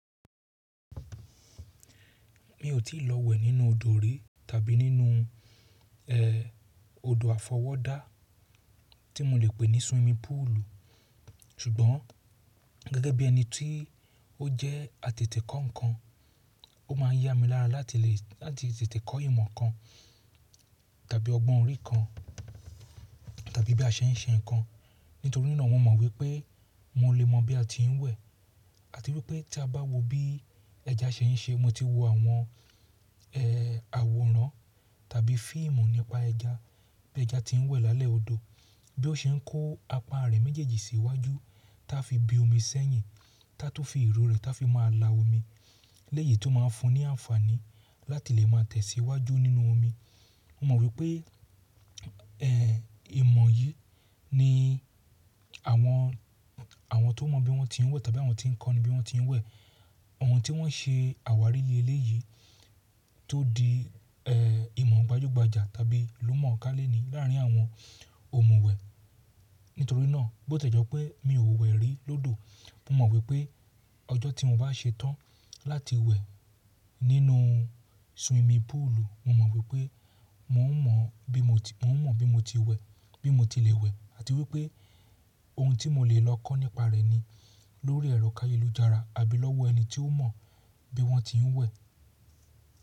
Mi ò tíì lọ wẹ̀ nínú odò rí tàbí nínú, ẹ́, odò àfọwọ́ dá tí mo lè pè ní swimming pool. Ṣùgbọ́n gẹ́gẹ́ bí ẹni tí ó jẹ́ atẹ̀tẹ̀kọ́ ǹkan, ó máa yá mi lára láti lè, láti tètè kọ́ ìmọ̀ kan tàbí ọgbọ́n orí kan tàbí bí a ṣe ń ṣe ǹkan. Nítorí naa mo ma wípé mo lè mọ bí a ti ń wẹ̀ àti wípé tí a bá wo bí ẹja ṣe ń ṣe. Mo ti wo àwọn, ẹ́, àwòrán tàbí fíìmù nípa ẹja, bí ẹja tí ń wẹ̀ lálẹ́ odò, bí ó ṣe ń kó apá rẹ̀ méjèèjì sí iwájú tí a fi bí omi sẹ́yìn, tí a tun fi ìru rẹ̀, tí a fi máa la omi léyìí tó máa fun ní àǹfààní láti lè máa tẹ̀síwájú nínú omi. Mo mọ̀ wípé, ẹ́, ìmọ̀ yìí ni àwọn, àwọn tó mọ̀ bí wọ́n ti ń wẹ̀ tàbí àwọn tí ń kọ́ ni bí wọ́n ti ń wẹ̀. Àwọn tí wọ́n ṣe àwárí eléyìí tó di, ẹ́, ìmọ̀ gbajúgbajà tàbí ilumọ̀ọ́ká leni láàrín àwọn ohùn ìwẹ̀. Nítorí náà, bó tí ò jẹ́ pé mi ò wẹ̀ rí lọ́dọ̀, mo mọ̀ wípé ọjọ́ tí mo bá ṣe tán láti wẹ̀ nínú swimming pool, mo mọ̀n wípé mò ń mọ bí mo ti, mò ń mọ bí mo ti wẹ̀, bí mo ti lè wẹ̀ àti wípé ohun tí mo lè lọ kọ́ nípa rẹ̀ ni lórí ẹ̀rọ káyelújára àbí lọ́wọ́ ẹni tí ó mọ̀ bí wọ́n ti ń wẹ̀.